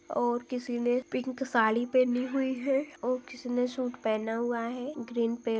--और किसी ने पिंक साड़ी पहनी हुई है और किसी ने सूट पहेना हुआ है ग्रीन पे--